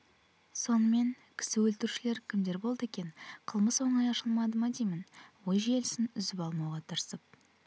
сонымен кісі өлтірушілер кімдер болды екен қылмыс оңай ашылды ма деймін ой желісін үзіп алмауға тырысып